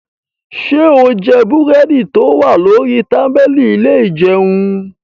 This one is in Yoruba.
Ṣé o jẹ búrẹ́dì tó wà lórí tábìlì ilé ìjẹun?